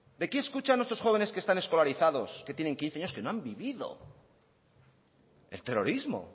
de qué escuchan nuestros jóvenes que están escolarizados que tienen quince años que no han vivido el terrorismo